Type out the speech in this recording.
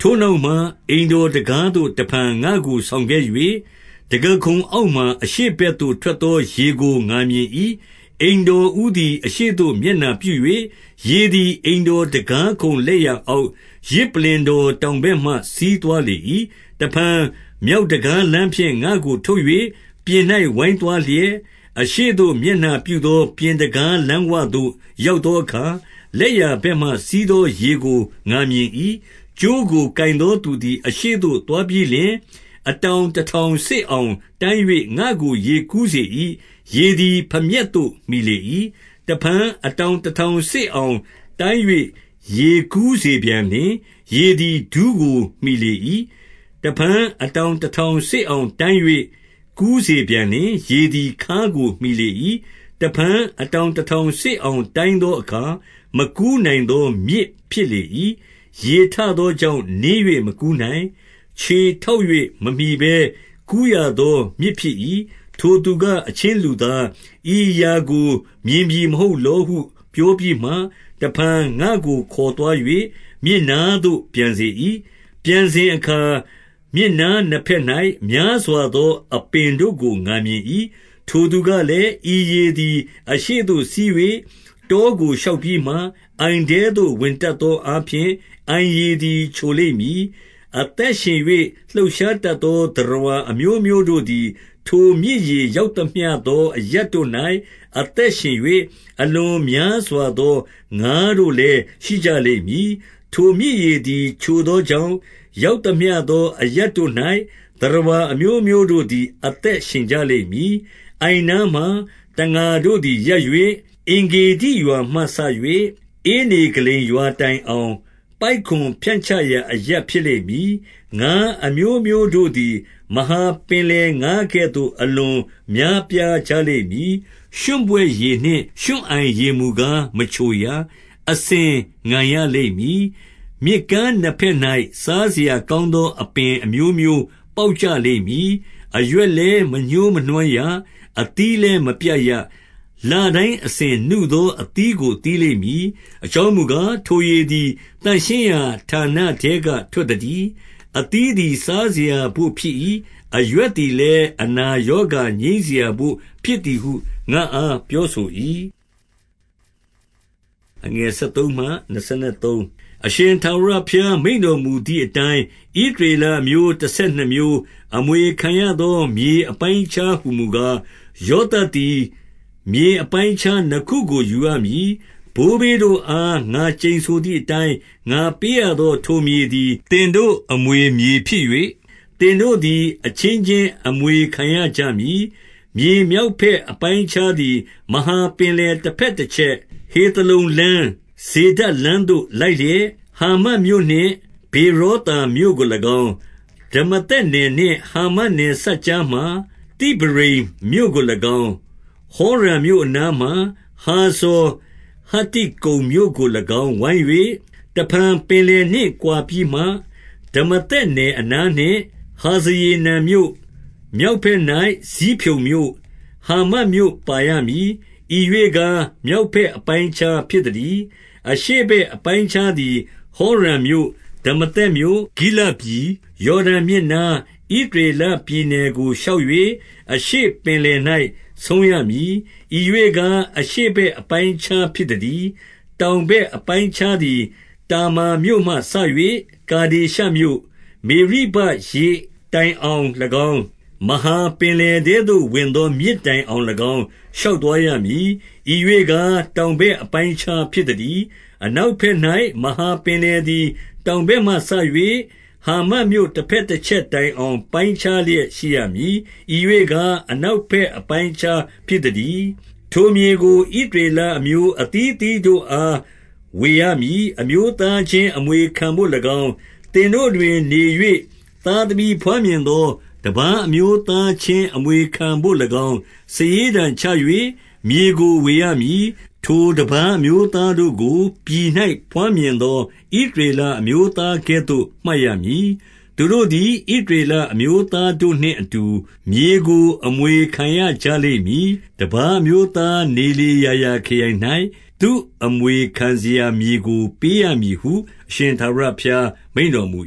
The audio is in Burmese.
ထိုနောက်မှ အိမ်တော်တံခါးသို့ တဖန်ငါ့ကို ဆောင်ခဲ့၍၊ တံခါးခုံအောက်မှာ အရှေ့ဘက်သို့ထွက်သော ရေကိုငါမြင်၏။ အမ်တော်ဦးသည် အရှေ့သို့မျက်နှာပြု၍၊ ရေသည်အိမ်တော်တံခါးခုံလက်ျာအောက်၊ ယဇ်ပလ္လင် တော် တောင်ဘက်မှ စီးသွားလေ၏။ တဖန် မြောက်တံခါးလမ်းဖြင့် ငါ့ကိုထုတ်၍ ပြင်၌ဝိုင်းသွားလျက်၊ အရှေ့သို့ မျက်နှာပြုသော ပြင်တံခါး လမ်းဝသို့ ရောက်သောအခါ၊ လက်ျာဘက်မှစီးသော ရေကို ငါမြင်၏။ ကြိုးကိုကိုင်သောသူသည် အရှေ့သို့သွားပြီးလျှင်၊ အတောင်တတောင်စေ့အောင်တိုင်း၍ ငါ့ကို ရေကူးစေ၏။ ရေသည် ဖမျက်သို့ မှီလေ၏။ တဖန်အတောင်တထောင်စေ့အောင်တိုင်း၍ ရေးကူးစေပြန်လျှင်၊ ရေသည် ဒူးကိုမှီလေ၏။ တဖန် အတောင်တထောင်စေ့အောင်တိုင်း၍ ကူးစေပြန်လျှင်၊ ရေသည်ခါးကိုမှီလေ၏။ တဖန် အတောင်တထောင်စေ့အောင် တိုင်းသောအခါ မကူးနိုင်သော မြစ်ဖြစ်လေ၏။ ရေထ သောကြောင့် နင်း၍မကူးနိုင်၊ ခြေထောက်၍ မမှီပဲ ကူးရသောမြစ်ဖြစ်၏။ ထိုသူက၊ အချင်းလူကား၊ ဤအရာကို မြင်သည် မဟုတ်လောဟု ပြောပြီးမှ တဖန်ငါ့ကိုခေါ်သွား၍ မြစ်နားသို့ပြန်စေ၏။ ပြန်စဉ်အခါ မြစ်နားနှစ်ဘက်၌ များစွာသော အပင်တို့ကို ငါမြင် ၏။ ထိုသူကလည်း၊ ဤရေသည် အရှေ့သို့စီး၍ တောကို ရှောက်ပြီးမှ၊ အိုင်ထဲသို့ဝင်တတ်သော အားဖြင့် အိုင်ရေသည် ချိုလိမ့်မည်။ အသက်ရှင်၍လှုပ်ရှားတတ်သော သတ္တဝါ အမျိုးမျိုးတို့သည် ထိုမြစ်ရေရောက်သမျှသော အရပ်တို့၌ အသက်ရှင်၍၊ အလွန်များစွာသော ငါတို့လည်း ရှိကြ လိမ့်မည်။ ထိုမြစ်ရေသည် ချိုသောကြောင့်၊ ရောက်သမျှ သော အရပ်တို့၌ သတ္တဝါအမျိုးမျိုးတို့သည် အသက်ရှင် ကြလိမ့်မည်။ အိုင်နားမှာတံငါတို့သည် ရပ်၍၊ အင်္ဂေဒိရွာမှ စ၍ ဧနေဂလိမ်ရွာတိုင်အောင် ပိုက်ကွန်ဖြန့်ချရာ အရပ် ဖြစ်လိမ့်မည်။ ငါအမျိုးမျိုးတို့သည် မဟာပင်လယ်ငါးကဲ့သို့ အလွန်များပြားကြလိမ့်မည်။ ရွံ့ပွက်ရည်နှင့် ရွံ့အိုင်ရေမူကား မချိုရ၊ အစဉ် ငန်ရလိမ့်မည်။ မြစ်ကမ်းနားနှစ်ဖက်၌ စားစရာကောင်းသော အပင်အမျိုးမျိုး ပေါက်ကျလိမ့်မည်။ အရွက်လည်း မညှိုး မနွမ်းရ အသီးလည်းမပျက်ရ။ လတိုင်းအစဉ်နုသော အသီးကို သီးလိမ့်မည်။ အကြောင်းမူကား၊ သန့်ရှင်းရာ ဌာနထဲကထွက်သတည်း။ အသီးသည် စားစရာ အပိုဖြစ် ၏။ အရွက်သည် အနာရောဂါငြိမ်းစရာဘို့ဖြစ်သည်ဟု ငါ့အားပြောဆို၏။ အရှင်ထာဝရဘုရား မိန့်တော်မူသည်အတိုင်း၊ ဣသရေလအမျိုး တဆယ်နှစ်မျိုးအမွေခံရသော မြေ အပိုင်းအခြားမူကား၊ ယောသပ်သည် မြေအပိုင်းအခြား နှစ်ခုကို ယူရမည်။ ဘိုးဘေးတို့အား ငါကျိန်ဆိုသည်အတိုင်း ငါပေး ရသော ထိုမြေသည် သင်တို့အမွေဖြစ်၍၊ သင်တို့သည် အချင်းချင်းအမွေခံရကြမည်။ မြေမြောက်ဘက်အပိုင်းအခြားသည် မဟာ ပင်လယ်တဘက်တချက်၊ ဟေသလုန်လမ်း၊ ဇေဒဒ်လမ်းသို့ လိုက်လျက်၊ ဟာမတ်မြို့နှင့် ဗေရောသာမြို့ကို၎င်း၊ ဒမာသက်နယ်နှင့်ဟာမတ်နယ်ဆက်ကြားမှာ သိဗရိမ် မြို့ကို၎င်း၊ ဟောရန်မြို့အနားမှာ၊ ဟာဇာဟတ္တိကုန်းမြို့ကို ၎င်း ဝိုင်း၍၊ တဖန်ပင်လယ်နှင့်ကွာပြီးမှ ဒမာသက်နယ် အနား၌ ဟာဇရေနန်မြို့၊ မြောက်ဘက်၌ ဇိဖြုန်မြို့၊ ဟာမတ်မြို့ပါရမည်။ ဤရွေ့ကား မြောက်ဘက် အပိုင်း အခြားဖြစ်သတည်း။ အရှေ့ဘက်အပိုင်းအခြားသည် ဟောရန်မြို့၊ ဒမာသက်မြို့၊ ဂိလဒ်ပြည်၊ ရောဒန်မြစ်နား ဣသရေလ ပြည်နယ်ကိုရှောက်၍၊ အရှေ့ပင်လယ်၌ ဆုံးရမည်။ ဤရွေ့ကား၊ အရှေ့ဘက်အပိုင်းအခြား ဖြစ်သတည်း။ တောင်ဘက်အပိုင်းအခြားသည် တာမာမြို့မှ စ၍ ကာဒေရှမြို့၊ မေရိဘရေတိုင်အောင်၎င်း၊ မဟာ ပင်လယ်ထဲသို့ ဝင်သောမြစ်တိုင်အောင်၎င်း၊ ရှောက်သွား ရမည်။ ဤရွေ့ကား၊ တောင်ဘက်အပိုင်းအခြားဖြစ်သ တည်း။ အနောက်ဘက်၌ မဟာပင်လယ်သည် တောင် ဘက်မှစ၍၊ ဟာမတ်မြို့တဘက်တချက်တိုင်အောင် ပိုင်းခြားလျက်ရှိရမည်။ ဤ၍ကား၊ အနောက်ဘက်အပိုင်း အခြားဖြစ်သတည်း။ ထိုမြေကိုဣသရေလအမျိုး အသီးအသီးတို့အား ဝေရမည်။ အမျိုးသားချင်းအမွေခံဘို့၎င်း၊ သင်တို့တွင်နေ၍ သားသမီးဘွားမြင်သော တပါးအမျိုးသားချင်း အမွေခံ ဘို့၎င်း စာရေးတံချ၍ မြေကို ဝေရမည်။ ထိုတပါး အမျိုးသားတို့ကို ပြည်၌ဘွားမြင်သော ဣသရေလ အမျိုးသားကဲ့သို့မှတ်ရမည်။ သူတို့သည် ဣသရေလ အမျိုးသားတို့နှင့် အတူမြေကိုအမွေခံ ရကြလိမ့်မည်။ တပါးအမျိုးသား နေလေရာရာခရိုင်၌ သူ့အမွေ ခံစရာမြေကို ပေးရမည်ဟု အရှင်ထာဝရဘုရား မိန့်တော် မူ